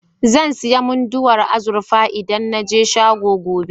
Zan sayi Munduwar azurfa idan na je shagon, gobe.